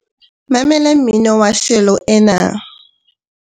mamela mmino wa shelo ena